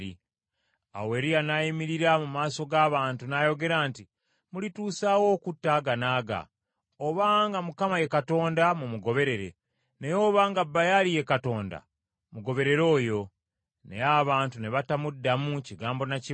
Awo Eriya n’ayimirira mu maaso g’abantu n’ayogera nti, “Mulituusa wa okutta aganaaga? Obanga Mukama ye Katonda mumugoberere, naye obanga Baali ye Katonda mugoberere oyo.” Naye abantu ne batamuddamu kigambo na kimu.